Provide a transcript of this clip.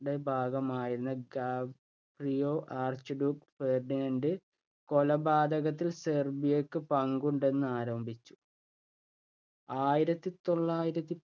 യുടെ ഭാഗമായിരുന്ന Gavrilo archduke Ferdinand കൊലപാതകത്തിൽ സെർബിയയ്ക്കും പങ്കുണ്ടെന്നാരംഭിച്ചു. ആയിരത്തി തൊള്ളായിരത്തി